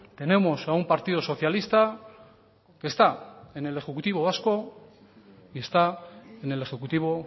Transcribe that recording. tenemos a un partido socialista que está en el ejecutivo vasco y está en el ejecutivo